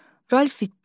Ralf itdi.